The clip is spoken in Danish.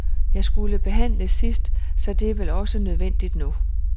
Jeg skulle behandles sidst, så det er vel også nødvendigt nu?